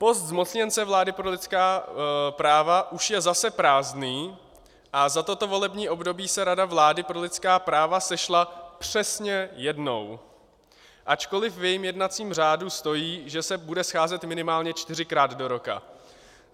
Post zmocněnce vlády pro lidská práva už je zase prázdný a za toto volební období se Rada vlády pro lidská práva sešla přesně jednou, ačkoliv v jejím jednacím řádu stojí, že se bude scházet minimálně čtyřikrát do roka.